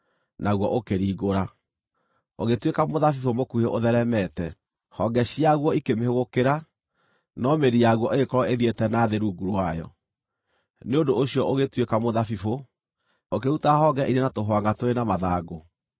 naguo ũkĩringũra, ũgĩtuĩka mũthabibũ mũkuhĩ ũtheeremete. Honge ciaguo ikĩmĩhũgũkĩra, no mĩri yaguo ĩgĩkorwo ĩthiĩte na thĩ rungu rwayo. Nĩ ũndũ ũcio ũgĩtuĩka mũthabibũ, ũkĩruta honge irĩ na tũhwangʼa tũrĩ na mathangũ.